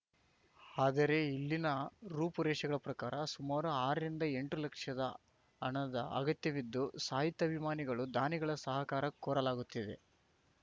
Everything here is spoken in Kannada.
ಆದರೆ ಇಲ್ಲಿನ ರೂಪು ರೇಷಗಳ ಪ್ರಕಾರ ಸುಮಾರು ಆರ ರಿಂದಎಂಟು ಲಕ್ಷ ಹಣದ ಅಗತ್ಯವಿದ್ದು ಸಾಹಿತ್ಯಾಭಿಮಾನಿಗಳು ದಾನಿಗಳ ಸಹಕಾರ ಕೋರಲಾಗುತ್ತಿದೆ